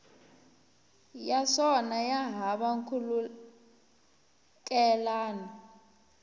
ya swona ya hava nkhulukelano